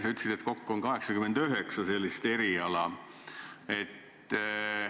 Sa ütlesid, et kokku on 89 sellist eriala.